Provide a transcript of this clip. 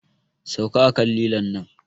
Sauka a kan lilon nan!